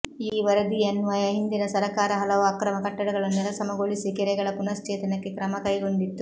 ಈ ವರದಿಯನ್ವಯ ಹಿಂದಿನ ಸರಕಾರ ಹಲವು ಅಕ್ರಮ ಕಟ್ಟಡಗಳನ್ನು ನೆಲಸಮಗೊಳಿಸಿ ಕೆರೆಗಳ ಪುನಃಶ್ಚೇತನಕ್ಕೆ ಕ್ರಮಕೈಗೊಂಡಿತ್ತು